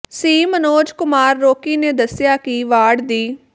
ਸੀ Manoj Kumar Rocky ਨੇ ਦੱਸਿਆ ਕਿ ਵਾਰਡ ਦੀ